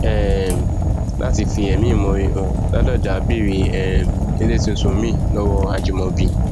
um láti fi ẹmí ìmoore hàn ládọjá béèrè um ilé tuntun miín lọwọ ajimobi